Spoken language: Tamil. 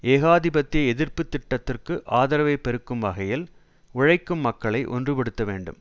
ஏகாதிபத்திய எதிர்ப்பு திட்டத்திற்கு ஆதரவை பெருக்கும் வகையில் உழைக்கும் மக்களை ஒன்றுபடுத்த வேண்டும்